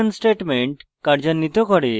এটি this বন্ধনীতে 11 statement কার্যান্বিত করে